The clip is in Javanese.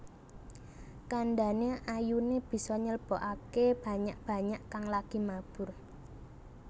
Kandhane ayune bisa nyeblokake banyak banyak kang lagi mabur